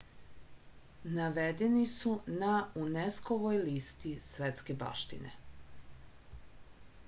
navedeni su na unesco-voj listi svetske baštine